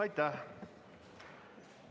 Aitäh!